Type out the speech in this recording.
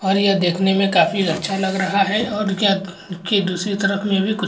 और यह देखने मैं काफी अच्छा लग रहा हैं और यह एक दूसरे तरफ मैं भी कुछ --